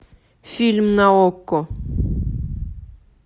фильм на окко